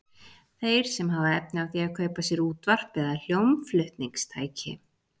Þeir sem hafa efni á því að kaupa sér útvarp eða hljómflutningstæki.